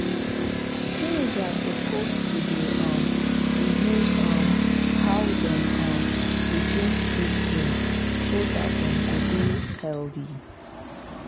teenagers suppose to dey um reduce um how dem um dey drink sweet drink so dat dem go dey healthy.